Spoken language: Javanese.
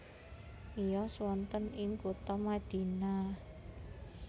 Miyos wonten ing kutha Madinah